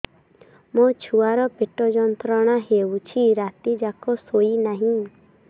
ମୋ ଛୁଆର ପେଟ ଯନ୍ତ୍ରଣା ହେଉଛି ରାତି ଯାକ ଶୋଇନାହିଁ